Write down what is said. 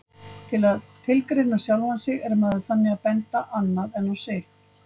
Til að tilgreina sjálfan sig er maður þannig að benda annað en á sig.